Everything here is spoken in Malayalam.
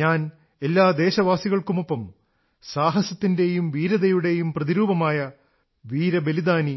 ഞാൻ എല്ലാ ദേശവാസികൾക്കുമൊപ്പം സാഹസത്തിന്റെയും വീരതയുടെയും പ്രതിരൂപമായ വീരബലിദാനി